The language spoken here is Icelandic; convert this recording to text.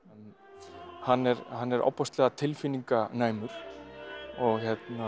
hann er hann er ofboðslega tilfinninganæmur og